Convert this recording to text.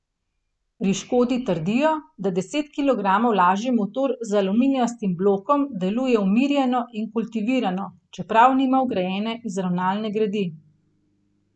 Pri Škodi trdijo, da deset kilogramov lažji motor z aluminijastim blokom deluje umirjeno in kultivirano, čeprav nima vgrajene izravnalne gredi.